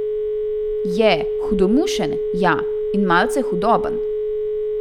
Je, hudomušen, ja, in malce hudoben.